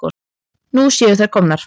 Nú séu þær komnar.